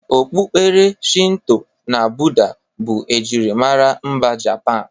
Okpukperechi Shinto na Bụda bụ ejirimara mba Japan.